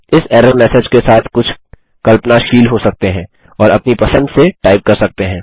आप इस error message के साथ कुछ कल्पनाशील हो सकते हैं और अपनी पसंद से टाइप कर सकते हैं